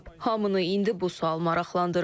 Hamını indi bu sual maraqlandırır.